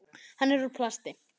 Hann er úr plasti.